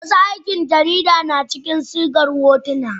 wasu aikin jarida na cikin sigar hotuna